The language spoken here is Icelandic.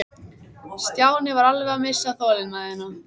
Stjáni var alveg að missa þolinmæðina.